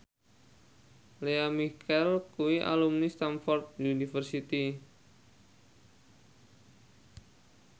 Lea Michele kuwi alumni Stamford University